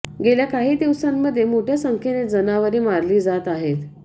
गेल्या काही दिवसांमध्ये मोठय़ा संख्येने जनावरे मारली जात आहेत